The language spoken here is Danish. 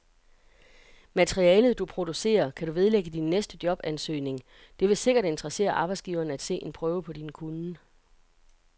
Materialet, du producerer, kan du vedlægge din næste jobansøgning, det vil sikkert interessere arbejdsgiveren at se en prøve på din kunnen.